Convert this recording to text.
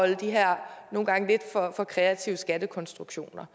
de her nogle gange lidt for kreative skattekonstruktioner